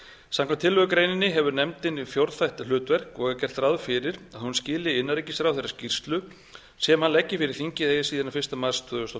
samkvæmt tillögugreininni hefur nefndin fjórþætt hlutverk og er gert ráð fyrir að hún skili innanríkisráðherra skýrslu sem hann leggi fyrir þingið eigi síðar en fyrsta mars tvö þúsund og